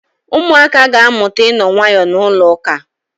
Ụmụaka ga-amụta ịno nwayọọ na ụlọụka.